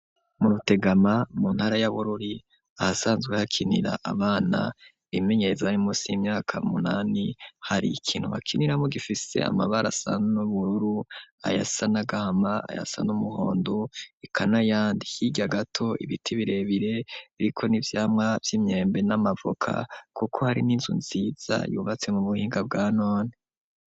Mu rutegama mu ntara yaboruli ahasanzwe hakinira abana imenyeezo rimusi imyaka munani hari ikintu hakiniramo gifise amabara asa n'ubururu ayasa n'agahama aya asa n'umuhondo ikanayandi higa gato ibiti birebire riko n'ibyamwa vy'imyembe n'amavuka kuko hari n'inzu nziza yubatse mu buhinga bwa none.